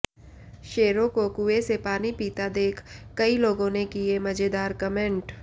शेरों को कुएं से पानी पीता देख कई लोगों ने किए मजेदार कमेंट